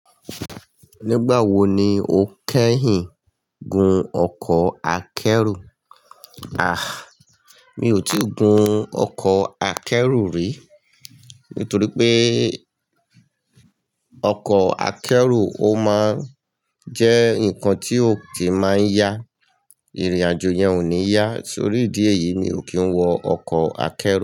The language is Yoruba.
Nígbà wo ni o kẹ́yìn gun ọkọ̀ akẹ́rù? A! Mi ò tí ì gun ọkọ̀ akẹ́rù rí. Nítorí pé ọkọ̀ akẹ́rù ó máa ń jẹ́ nǹkan tí ò kí máa ń yá. Ìrìn àjò yẹn ò ní yá. Torí ìdí èyí mi ò kí ń wọ ọkọ̀ akẹ́rù.